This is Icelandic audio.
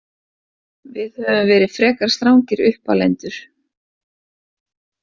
Við höfum verið frekar strangir uppalendur.